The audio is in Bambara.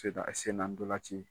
senna ndolan ci